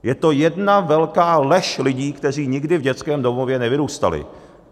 Je to jedna velká lež lidí, kteří nikdy v dětském domově nevyrůstali.